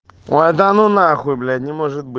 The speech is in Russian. данунахуй блять не